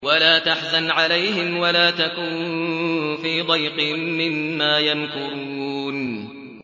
وَلَا تَحْزَنْ عَلَيْهِمْ وَلَا تَكُن فِي ضَيْقٍ مِّمَّا يَمْكُرُونَ